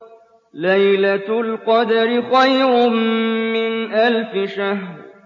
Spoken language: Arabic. لَيْلَةُ الْقَدْرِ خَيْرٌ مِّنْ أَلْفِ شَهْرٍ